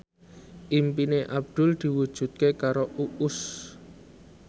impine Abdul diwujudke karo Uus